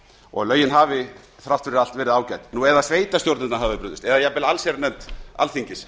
og að lögin hafi þrátt fyrir allt verið ágæt nú eða að sveitarstjórnirnar hafi brugðist eða jafnvel allsherjarnefnd alþingis